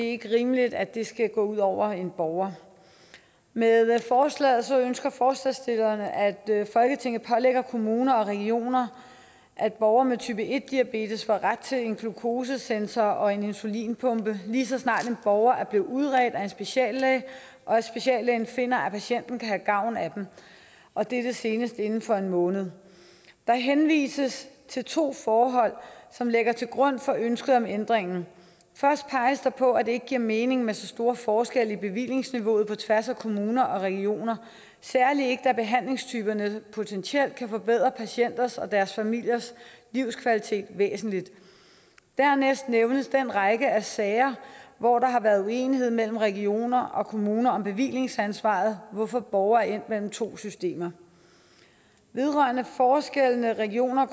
ikke rimeligt at det skal gå ud over en borger med forslaget ønsker forslagsstillerne at folketinget pålægger kommuner og regioner at borgere med type en diabetes får ret til en glukosesensor og en insulinpumpe lige så snart en borger er blevet udredt af en speciallæge og speciallægen finder at patienten kan have gavn af dem og dette senest inden for en måned der henvises til to forhold som ligger til grund for ønsket om ændringen først peges der på at det ikke giver mening med så store forskelle i bevillingsniveauet på tværs af kommuner og regioner særlig ikke da behandlingstyperne potentielt kan forbedre patienters og deres familiers livskvalitet væsentligt dernæst nævnes den række af sager hvor der har været uenighed mellem regioner og kommuner om bevillingsansvaret hvorfor borgere er endt mellem to systemer vedrørende forskellene regioner og